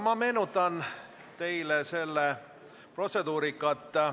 Ma meenutan teile protseduuri.